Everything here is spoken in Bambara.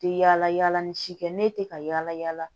Tɛ yala yala ni si kɛ ne tɛ ka yala yala